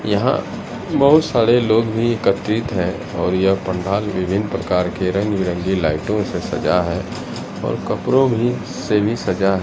यहां बहुत सारे लोग भी एकत्रित हैं और यह पंडाल विभिन्न प्रकार के रंग बिरंगी लाइटों से सजा है और कपड़ों भी से भी सजा--